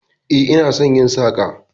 E, ina son yin saka